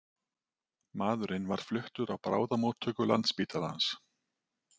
Maðurinn var fluttur á bráðamóttöku Landspítalans